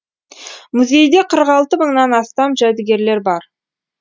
музейде қырық алты мыңнан астам жәдігерлер бар